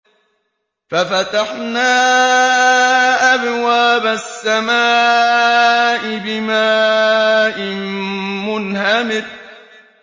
فَفَتَحْنَا أَبْوَابَ السَّمَاءِ بِمَاءٍ مُّنْهَمِرٍ